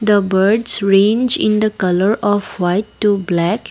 the birds range in the colour of white to black.